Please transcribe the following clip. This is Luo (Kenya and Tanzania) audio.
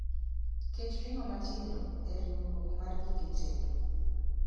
Ket ring'o matindo e riurwok mar gige tedo